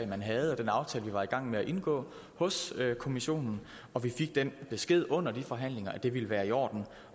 man havde og den aftale vi var i gang med at indgå hos kommissionen og vi fik den besked under forhandlingerne at det ville være i orden